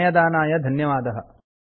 समयदानाय धन्यवादः